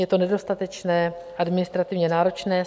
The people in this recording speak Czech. Je to nedostatečné, administrativně náročné.